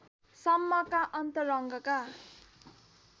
सम्मका अन्तरङ्ग